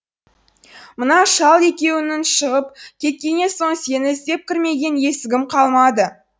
мана шал екеуің шығып кеткеннен соң сені іздеп кірмеген есігім қалмады